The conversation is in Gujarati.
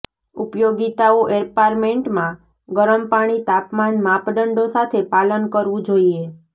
ઉપયોગીતાઓ એપાર્ટમેન્ટમાં ગરમ પાણી તાપમાન માપદંડો સાથે પાલન કરવું જોઈએ